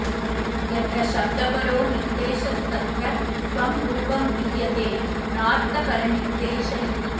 यत्र शब्दपरो निर्देशस्तत्र स्वं रूपं गृह्यते नार्थपरनिर्देश इति